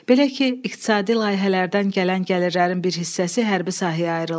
Belə ki, iqtisadi layihələrdən gələn gəlirlərin bir hissəsi hərbi sahəyə ayrılır.